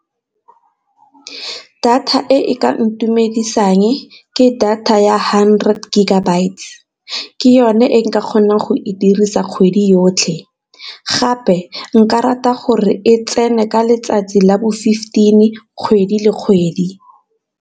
Data e ka ntumedisang ke data ya hundred gigabytes ke yone e nka kgonang go e dirisa kgwedi yotlhe, gape nka rata gore e tsene ka letsatsi la bo fifteen kgwedi le kgwedi.